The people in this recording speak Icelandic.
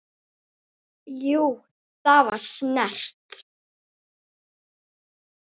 Jú, það var snert